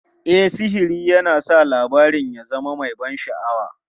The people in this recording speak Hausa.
E, sihiri yana sa labarin ya zama mai ban sha'awa.